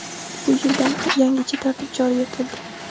Bu yildan yangicha tartib joriy etildi.